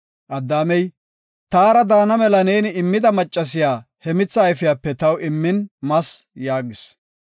Addaamey, “Taara daana mela neeni immida maccasiya he mitha ayfiyape taw immin mas” yaagis.